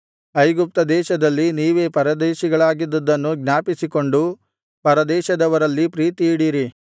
ಐಗುಪ್ತದೇಶದಲ್ಲಿ ನೀವೇ ಪರದೇಶಿಗಳಾಗಿದ್ದದ್ದನ್ನು ಜ್ಞಾಪಿಸಿಕೊಂಡು ಪರದೇಶದವರಲ್ಲಿ ಪ್ರೀತಿಯಿಡಿರಿ